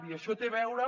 i això té a veure